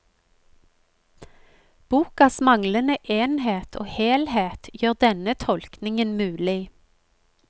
Bokas manglende enhet og helhet gjør denne tolkningen mulig.